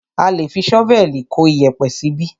A lé fi ṣọ́vẹ̀lì kó iyẹ̀pẹ̀ síbí.